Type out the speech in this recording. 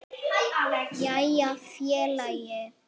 Jæja félagi!